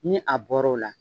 Ni a bɔr'o la.